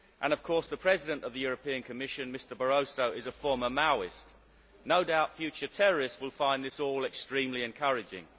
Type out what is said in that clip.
And, of course, the President of the European Commission, Mr Barroso, is a former Maoist. No doubt future terrorists will find this all extremely encouraging.